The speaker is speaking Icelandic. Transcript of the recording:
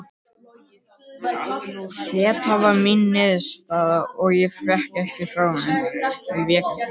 Þeta var mín niðurstaða og ég vék ekki frá henni.